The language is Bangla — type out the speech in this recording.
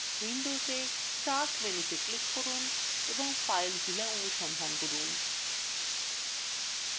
windows এ start menu তে click করুন এবং filezilla অনুসন্ধান করুন